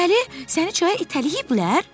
Deməli, səni çaya itələyiblər?